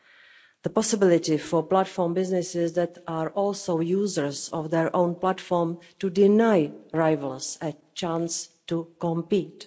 and the possibility for platform businesses that are also users of their own platform to deny rivals a chance to compete.